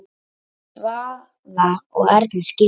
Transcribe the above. Svavar og Erna skildu.